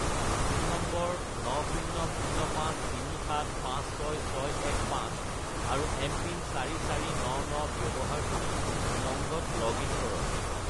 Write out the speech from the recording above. Phone নম্বৰ 90053756615 আৰু MPIN 4499 ব্যৱহাৰ কৰি উমংগত লগ-ইন কৰক।